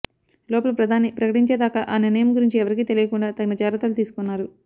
లోపల ప్రధాని ప్రకటించేదాకా ఆ నిర్ణయం గురించి ఎవరికీ తెలియకుండా తగిన జాగ్రత్తలు తీసుకున్నారు